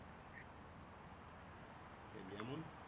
এ যেমন